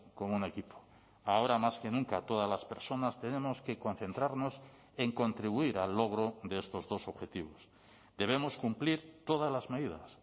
con un equipo ahora más que nunca todas las personas tenemos que concentrarnos en contribuir al logro de estos dos objetivos debemos cumplir todas las medidas